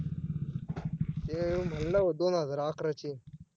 ते म्हणल दोन हजार अकराशे